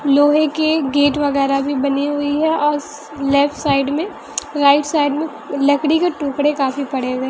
लोहे के गेट वगैरह भी बनी हुई है और लेफ्ट साइड में राइट साइड में लकड़ी के टुकड़े काफी पड़े हुए है।